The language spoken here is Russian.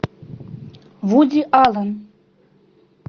вуди аллен